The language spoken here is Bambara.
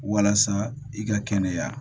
Walasa i ka kɛnɛya